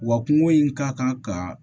Wa kungo in ka kan ka